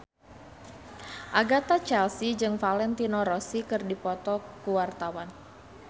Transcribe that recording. Agatha Chelsea jeung Valentino Rossi keur dipoto ku wartawan